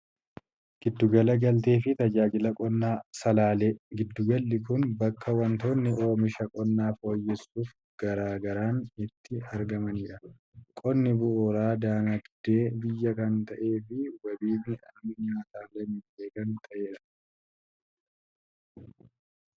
Gidduu gala galtee fi Tajaajila Qonnaa Salaalee. Gidduu galli kun bakka wantoonni oomisha qonnaa fooyyeessuuf gargaaran itti argamanidha. Qonni bu'uura dinagdee biyyaa kan ta'ee fi wabii midhaan nyaataa lammiilee kan ta'edha.